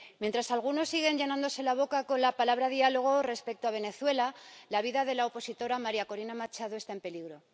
Mientras algunos siguen llenándose la boca con la palabra diálogo respecto a Venezuela, la vida de la opositora María Corina Machado está en peligro.